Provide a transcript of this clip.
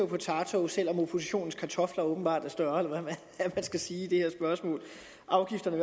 potato selv om oppositionens kartofler åbenbart er større eller hvad man skal sige i det her spørgsmål afgifterne